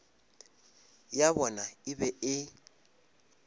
ya bona e be e